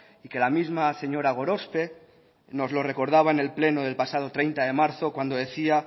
y que la misma señora gorospe nos lo recordaba en el pleno del pasado treinta de marzo cuando decía